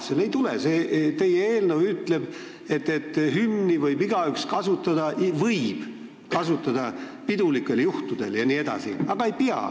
Aga ei tule ju: teie eelnõu ütleb, et hümni võib igaüks kasutada pidulikel juhtudel jne, aga ei pea.